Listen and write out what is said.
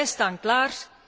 Wij staan klaar.